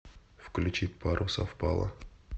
включи пару совпала